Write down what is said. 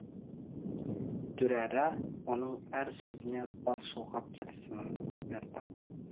дүрэрэ оның әр сөзіне бас шұлғып келісімін берді